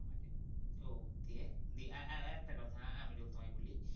ও দিয়ে একটা কথা আমিরুল তোমায় বলি